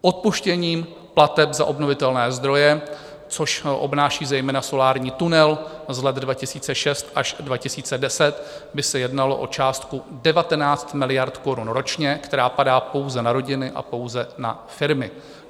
Odpuštěním plateb za obnovitelné zdroje, což obnáší zejména solární tunel, z let 2006 až 2010 by se jednalo o částku 19 miliard korun ročně, která padá pouze na rodiny a pouze na firmy.